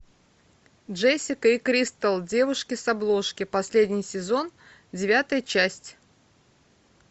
джессика и кристал девушки с обложки последний сезон девятая часть